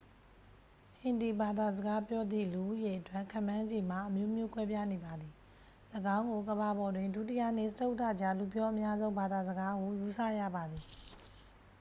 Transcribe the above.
ဟင်ဒီဘာသာစကားပြောသည့် လူဦးရေအတွက် ခန့်မှန်းခြေမှာ အမျိုးမျိုးကွဲပြားနေပါသည ၎င်းကို ကမ္ဘာပေါ်တွင် ဒုတိယနှင့် စတုတ္ထကြား လူပြောအများဆုံး ဘာသာစကားဟု ယူဆရပါသည်